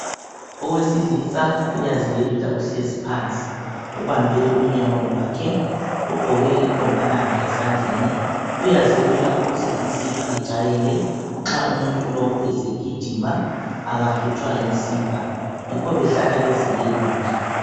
Owesilisa uyaziyelula uhlezi phansi ubambe unyawo lwakhe, ugqoke inkombalanga esandleni uyazelula ukuze imsipha ijayele nxa umuntu lowu esegijima akahlutshwa yimsipha yikho behlala beziyelula.